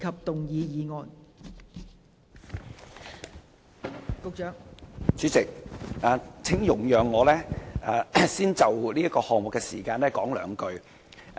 代理主席，請容許我先就這項議案的時間說兩句話。